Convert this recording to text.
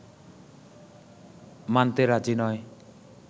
মানতে রাজি নয়